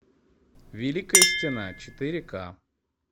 великая стена четыре ка